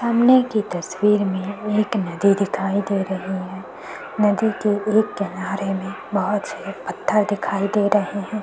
सामने की तस्वीर में एक नदी दिखाई दे रही है नदी के एक किनारे में बोहोत सारे पत्थर दिखाई दे रहे हैं ।